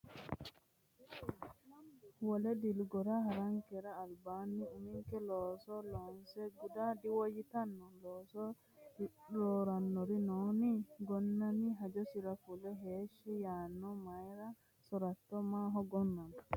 Wole dilgora ha’rankera albaanni uminke looso loonse guda diwoyyitanno? Looso roorannori noonni? Gonnami hajosira fule heeshshi yaanno Mayra so’ratto maaho Gonnama?